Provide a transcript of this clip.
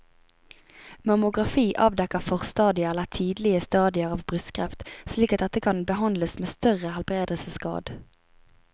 Mammografi avdekker forstadier eller tidlige stadier av brystkreft slik at dette kan behandles med større helbredelsesgrad.